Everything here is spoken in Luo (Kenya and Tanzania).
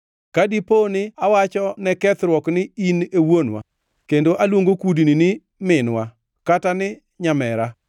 ka dipo ni awacho ne kethruok ni, ‘In e wuonwa,’ kendo aluongo kudni ni, ‘minwa,’ kata ni, ‘nyamera,’